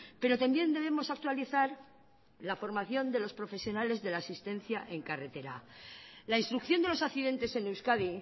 pero también debemos actualizar la formación de los profesionales de la asistencia en carretera la instrucción de los accidentes en euskadi